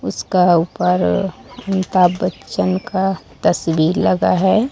उसका ऊपर अमिताभ बच्चन का तस्वीर लगा है।